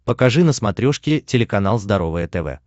покажи на смотрешке телеканал здоровое тв